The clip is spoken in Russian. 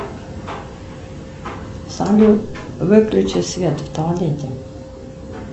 салют выключи свет в туалете